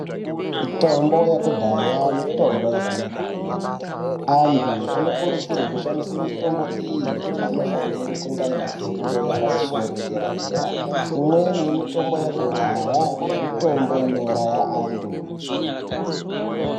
Mitombo yekudhaya, mitombo yakanaka kwemene. Antu anokurudzirwe kushandise mitombo iyi anofanire kunge aine fundo yepamusoro, yedera dera. Imweni yemitombo yakudhaya mitombo inouraya antu.